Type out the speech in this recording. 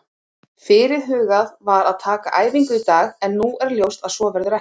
Fyrirhugað var að taka æfingu í dag en nú er ljóst að svo verður ekki.